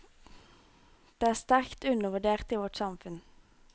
De er sterkt undervurdert i vårt samfunn.